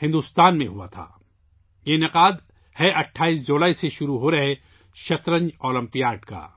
بھارت میں ہوا تھا، یہ 28 جولائی سے شروع ہونے والا شطرنج اولمپیاڈ ہے